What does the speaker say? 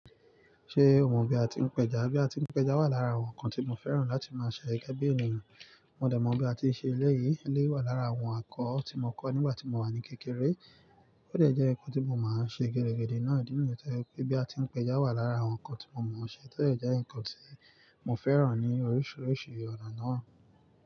Ṣé o mọ bí a ti ń péjá? Bí a ti ń péjá wà lára àwọn ǹkan tí mo fẹ́ràn láti máa ṣẹ gẹ́gẹ́ bí ènìyàn. Mo dẹ̀ mọ bí a ti n ṣe èleyí, èleyí wà lára àwọn ẹ́kọ̀ tí mo kọ́ nígbà tí mo wà ní kékeré. Ó dẹ̀ jẹ́ ǹkan tí mo máa ń ṣe gidigidi náà dínì yẹn. Bí a ti ń péjá wà lára àwọn ǹkan tí mo mọ ọṣẹ ti o dẹ̀ jẹ́ ǹkan tí mo fẹ́ràn ní oríṣiríṣi ọ̀nà náà.